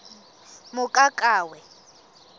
mokakawe